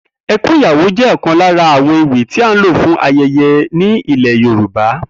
E̩kún Ìyàwó jé̩ ò̩kan lára àwo̩n ewì tí á ń lò fún aye̩ye̩ ní ilè̩ Yorùba